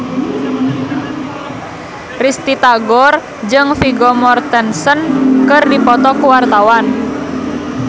Risty Tagor jeung Vigo Mortensen keur dipoto ku wartawan